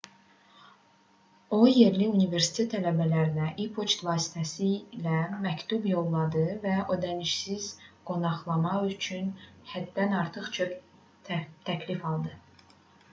o yerli universitet tələbələrinə e-poçt vasitəsilə məktub yolladı və ödənişsiz qonaqlama üçün həddən artıq çox təklif aldı